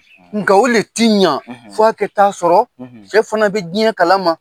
Nka o le tiɲa f'ɔ kɛ ta sɔrɔ cɛ fana bɛ diɲɛ kala ma.